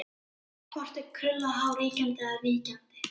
Hvort er krullað hár ríkjandi eða víkjandi?